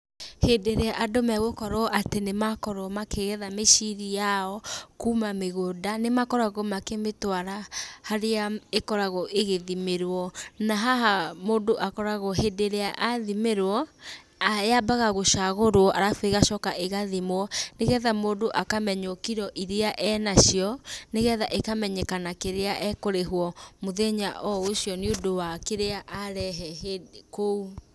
Hindĩ ĩrĩa andũ megũkorwo atĩ nĩmakorwo makĩgetha mĩciri yao, kuma mĩgũnda, nĩmakoragwo makĩmĩtwara harĩa ĩkoragwo ĩgĩthimĩrwo, na haha mũndũ akoragwo hĩndĩ ĩrĩa athimĩrwo, yambaga gũcagũrwo, arabu ĩgacoka ĩgathimwo, nĩgetha mũndũ akamenywo kiro iria enacio, nĩgetha ĩkamenyekana kĩrĩa ekũrĩhwo mũthenya o ũcio, nĩũndũ wa kĩrĩa arehe kũu.